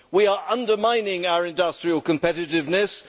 We are undermining our industrial competitiveness.